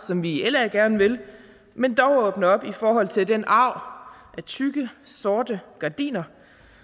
som vi i la gerne vil men dog åbne op i forhold til den arv af tykke sorte gardiner